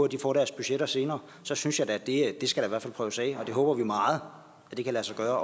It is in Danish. de får deres budgetter senere så synes jeg da at det skal prøves af det håber vi meget kan lade sig gøre